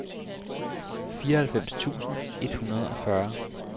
fireoghalvfems tusind et hundrede og fyrre